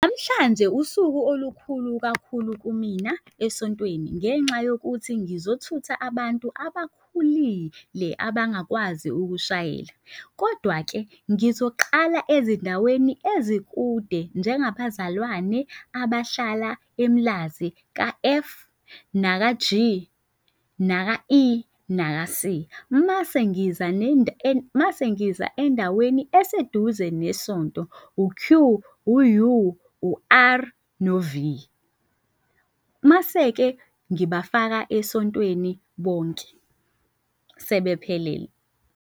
Namhlanje usuku olukhulu kakhulu kumina esontweni ngenxa yokuthi ngizothutha abantu abakhulile abangakwazi ukushayela. Kodwa-ke ngizoqala ezindaweni ezikude. Njengabazalwane abahlala eMlazi ka-F, naka-G, naka-E, naka-C. Mase ngiza mase ngiza endaweni eseduze nesonto, u-Q, u-U, u-R, no-V. Mase-ke ngibafaka esontweni bonke sebephelele.